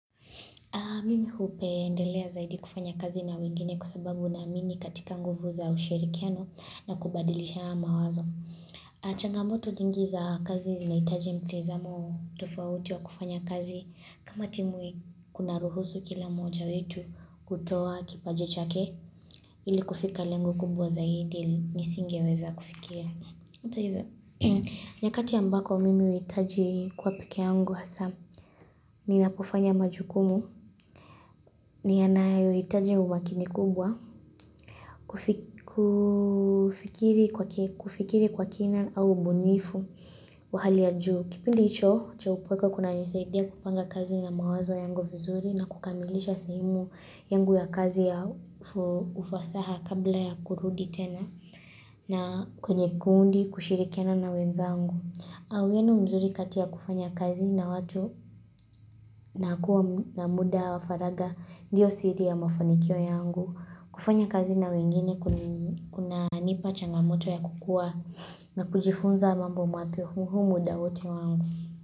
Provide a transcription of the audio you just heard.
Mimi hupeendelea zaidi kufanya kazi na wengine kwa sababu naamini katika nguvu za ushirikiano na kubadilishana mawazo. Changamoto nyingi za kazi zinahitaji mtazamo tofauti wa kufanya kazi. Kama timu kuna ruhusu kila moja wetu kutoa kipaji chake. Ili kufika lengo kubwa zaidi nisingeweza kufikia. Hata hivyo. Nyakati ambako mimi huhitaji kuwa pekee yangu hasa Ninapofanya majukumu ni yanayo hitaji umakini kubwa kufikiri kwa kina au mbunifu Wahali ya juu Kipindi hicho, cha upekwe kunanisaidia kupanga kazi na mawazo yangu vizuri na kukamilisha sehemu yangu ya kazi ya ufasaha kabla ya kurudi tena na kwenye kundi kushirikiana na wenzangu Awenu mzuri kati kufanya kazi na watu na kuwa na muda wa faragha ndiyo siri ya mafanikio yangu. Kufanya kazi na wengine kunanipa changamoto ya kukua na kujifunza mambo mapya humu muda hote wangu.